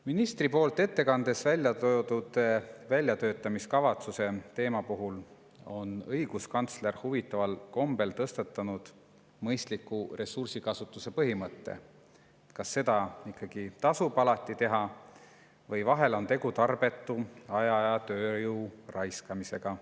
Ministri poolt ettekandes välja toodud väljatöötamiskavatsuse teema puhul on õiguskantsler huvitaval kombel tõstatanud mõistliku ressursikasutuse põhimõtte, kas seda ikkagi tasub alati teha või vahel on tegu tarbetu aja ja tööjõu raiskamisega.